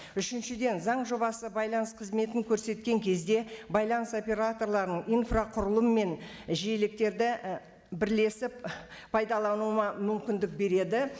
үшіншіден заң жобасы байланыс қызметін көрсеткен кезде байланыс операторларын инфрақұрылым мен жиеліктерді і бірлесіп пайдалануына мүмкіндік береді